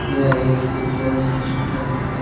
यह एक city ice hospital है।